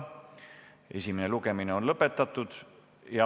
Esimene lugemine on lõpetatud.